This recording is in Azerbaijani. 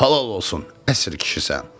Halal olsun, əsr kişisən.